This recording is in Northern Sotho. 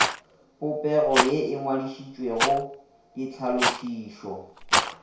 popego ye e ngwadišitšwego ditlhalošišo